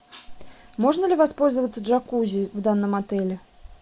можно ли воспользоваться джакузи в данном отеле